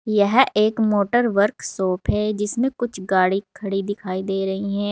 यह एक motor workshop है जिसमें कुछ गाड़ी खड़ी दिखाई दे रही हैं।